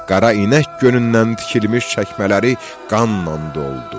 Qara inək gönündən tikilmiş çəkmələri qanla doldu.